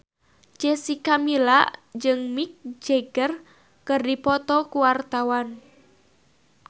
Jessica Milla jeung Mick Jagger keur dipoto ku wartawan